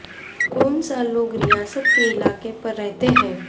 کون سا لوگ ریاست کے علاقے پر رہتے ہیں